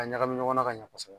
A ɲagami ɲɔgɔn na ka ɲa kɔsɛbɛ